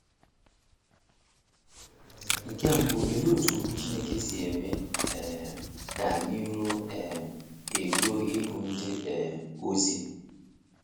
Nke mbụ, olee otú Okwu Chineke si eme um ka anyị ruo um eruo ịbụ ndị um ozi?